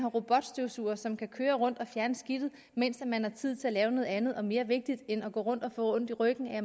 robotstøvsugere som kan køre rundt og fjerne skidtet mens man har tid til at lave noget andet og mere vigtigt end at gå rundt og få ondt i ryggen af